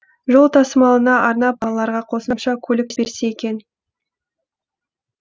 жол тасымалына арнап балаларға қосымша көлік берсе екен